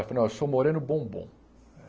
Ele falou, ó, eu sou moreno bombom.